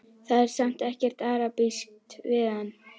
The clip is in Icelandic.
Það er samt ekkert arabískt við hann.